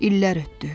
İllər ötdü.